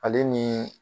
Ale ni